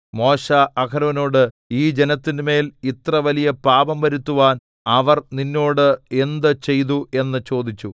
മോശെ അഹരോനോടു ഈ ജനത്തിന്മേൽ ഇത്രവലിയ പാപം വരുത്തുവാൻ അവർ നിന്നോട് എന്ത് ചെയ്തു എന്ന് ചോദിച്ചു